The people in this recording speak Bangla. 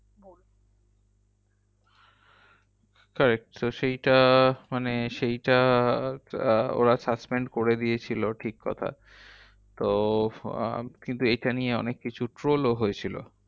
Correct তো সেইটা মানে সেইটা আহ ওরা suspend করে দিয়েছিলো ঠিককথা তো আহ কিন্তু এইটা নিয়ে অনেককিছু troll ও হয়েছিল।